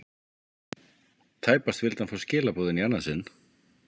Tæpast vildi hann fá skilaboðin í annað sinn.